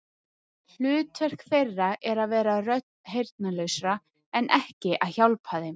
Hlutverk þeirra er að vera rödd heyrnarlausra, en ekki að hjálpa þeim.